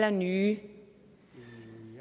og nye